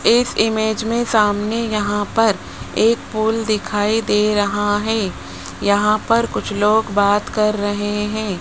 इस इमेज में सामने यहां पर एक पोल दिखाई दे रहा है यहां पर कुछ लोग बात कर रहे हैं।